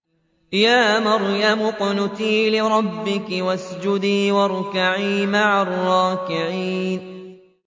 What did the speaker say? يَا مَرْيَمُ اقْنُتِي لِرَبِّكِ وَاسْجُدِي وَارْكَعِي مَعَ الرَّاكِعِينَ